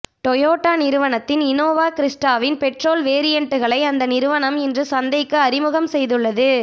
Toyota நிறுவனத்தின் Innova க்ரிஸ்ட்டாவின் petrol வேரியண்ட்களை அந்த நிறுவனம் இன்று சந்தைக்கு அறிமுகம் செய்துள்ளது